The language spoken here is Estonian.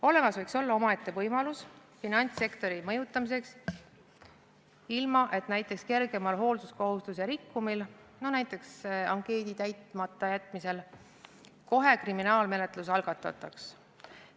Olemas võiks olla omaette võimalus finantssektori mõjutamiseks, ilma et näiteks kergema hoolsuskohustuse rikkumise korral, näiteks ankeedi täitmata jätmise puhul, kohe kriminaalmenetlus algatataks.